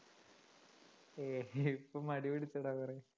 ഏയ് ഇപ്പൊ മടി പിടിച്ചെടാ കുറേ